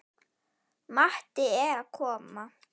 Matti er að koma!